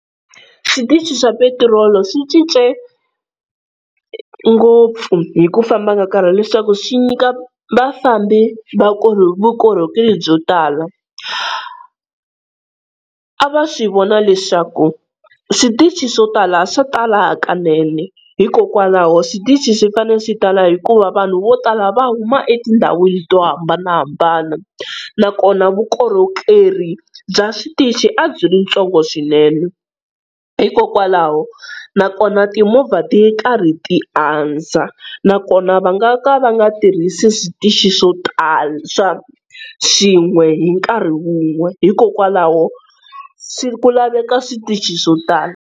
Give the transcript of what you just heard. Switichi swa petirolo swi cince ngopfu hi ku famba ka nkarhi leswaku swi nyika vafambi vukorhokeri byo tala. A va swi vona leswaku switichi swo tala swa tala hakanene hikokwalaho switichi swi fane swi tala hikuva vanhu vo tala va huma etindhawini to hambanahambana, nakona vukorhokeri bya switichi a byi ri ntsongo swinene, hikokwalaho nakona timovha ti karhi ti andza, nakona va nga ka va nga tirhisi switichi swo tala swa swin'we hi nkarhi wun'we hikokwalaho swi ku laveka switichi swo tala.